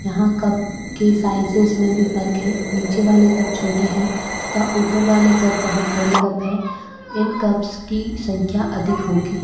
यहां कप की साइजेस मे भी फर्क है नीचे वाले कप छोटे है तथा ऊपर वाले कप बहोत बड़े कप है इन कप्स की संख्या अधिक होगी --